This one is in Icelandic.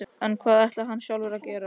En hvað ætlar hann sjálfur að gera?